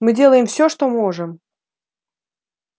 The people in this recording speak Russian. мы делаем все что можем